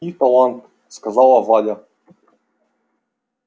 и талант сказала валя